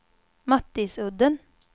Mattisudden